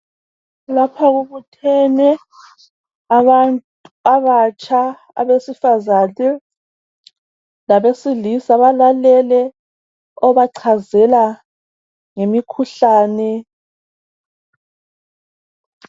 Lapha kubuthene abantu abatsha abesifazane labesilisa balalele obachazela ngemikhuhlane.